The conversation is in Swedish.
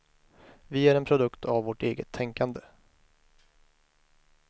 Vi är en produkt av vårt eget tänkande.